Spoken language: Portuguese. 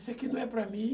Isso aqui não é para mim.